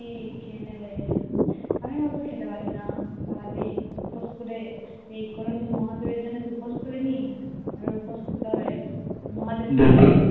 খেয়ে নেবে আমি অতো খেতে পারি না সারা দিন উপোস করে এই কোনো দিন মহাদেবের জন্য উপোস করিনি উপোস করতে হবে